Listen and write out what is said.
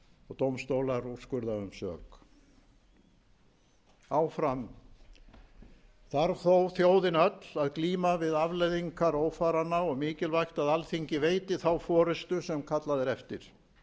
og dómstólar úrskurða um sök áfram þarf þó þjóðin öll að glíma við afleiðingar ófaranna og mikilvægt að alþingi veiti þá forystu sem kallað er eftir